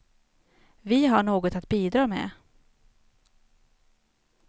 Vi har något att bidra med.